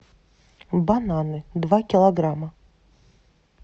бананы два килограмма